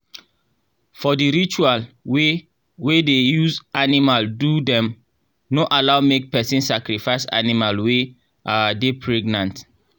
for the ritual wey wey dey use animal do dem no allow make person sacrifice animal wey um dey pregnant.